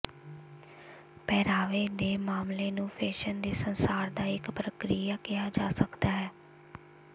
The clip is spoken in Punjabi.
ਪਹਿਰਾਵੇ ਦੇ ਮਾਮਲੇ ਨੂੰ ਫੈਸ਼ਨ ਦੇ ਸੰਸਾਰ ਦਾ ਇੱਕ ਪ੍ਰਕਿਰਿਆ ਕਿਹਾ ਜਾ ਸਕਦਾ ਹੈ